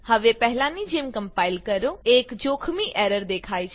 હવે પહેલાની જેમ કમ્પાઈલ કરો એક જોખમી એરર દેખાય છે